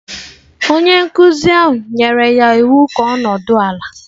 Onye nkụzi ahụ nyere ya iwu ka ọ nọdụ ala.